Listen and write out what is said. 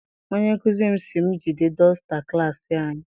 Onye nkụzi m si m jide dọsta klassi anyị.